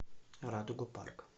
радуга парк